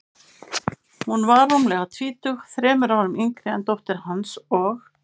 Hún var rúmlega tvítug, þremur árum yngri en dóttir hans, og